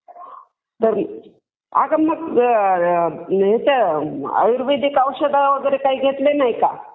अगं मग आयुर्वेदिक औषधं वगैरे काही घेतले नाही का?